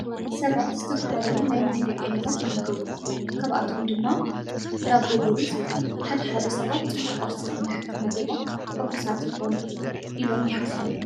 ኣብ ቅርሲ ሰባት ዝተፈላለዩ ናይ ምግቢ ዓይነታት ይምገቡ። ካብኣቶም ድማ ዳቦ ብሩዝ እዩ። ሓደ ሓደ ሰባት ፅቡቅ ቁርሲ እንድሕር ተመጊቦም ሕጉሳት ይኾኑ ኢሎም ይሓስቡ።